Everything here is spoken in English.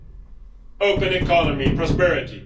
an open economy, prosperity.